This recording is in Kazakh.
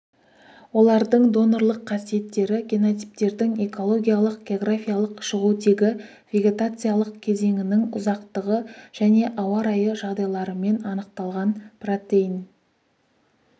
олардың донорлық қасиеттері генотиптердің экологиялық географиялық шығу тегі вегетациялық кезеңінің ұзақтығы және ауа райы жағдайларымен анықталған протеин